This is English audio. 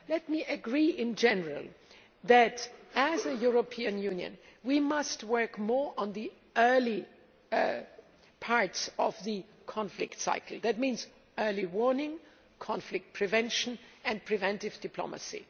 I agree in general that as a European Union, we must work more on the early parts of the conflict cycle, which means early warning, conflict prevention and preventive diplomacy.